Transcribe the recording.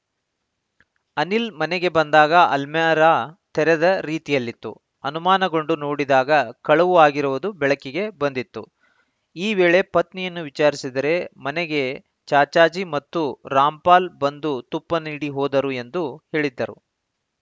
ಅನಿಲ್‌ ಮನೆಗೆ ಬಂದಾಗ ಅಲ್ಮೇರಾ ತೆರೆದ ರೀತಿಯಲ್ಲಿತ್ತು ಅನುಮಾನಗೊಂಡು ನೋಡಿದಾಗ ಕಳವು ಆಗಿರುವುದು ಬೆಳಕಿಗೆ ಬಂದಿತ್ತು ಈ ವೇಳೆ ಪತ್ನಿಯನ್ನು ವಿಚಾರಿಸಿದರೆ ಮನೆಗೆ ಚಾಚಾಜಿ ಮತ್ತು ರಾಮ್‌ಪಾಲ್‌ ಬಂದು ತುಪ್ಪ ನೀಡಿ ಹೋದರು ಎಂದು ಹೇಳಿದ್ದರು